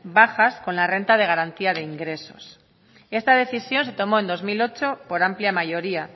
bajas con la renta de garantía de ingresos y esta decisión se tomó en el dos mil ocho por amplia mayoría